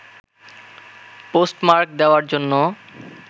post mark দেওয়ার জন্য